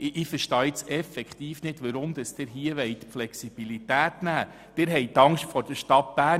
Ich verstehe nun wirklich nicht, weshalb Sie hier die Flexibilität einschränken wollen.